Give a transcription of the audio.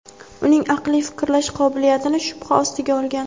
uning aqliy fikrlash qobiliyatini shubha ostiga olgan.